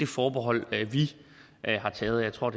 forbehold vi har taget og jeg tror